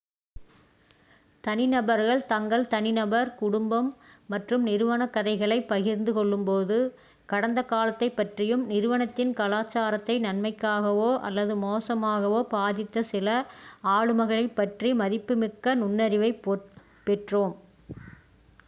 தனிநபர்கள் தங்கள் தனிநபர் குடும்பம் மற்றும் நிறுவனக் கதைகளைப் பகிர்ந்து கொள்ளும்போது கடந்த காலத்தைப் பற்றியும் நிறுவனத்தின் கலாச்சாரத்தை நன்மைக்காகவோ அல்லது மோசமாகவோ பாதித்த சில ஆளுமைகளைப் பற்றிய மதிப்புமிக்க நுண்ணறிவைப் பெற்றோம்